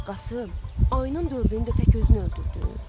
Qasım, ayının dördünü də tək özün öldürdün?